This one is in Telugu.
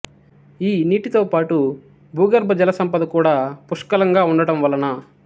ఈ నీటితో పాటు భూగర్బ జల సంపద కూడా పుష్కలంగా వుండటం వలన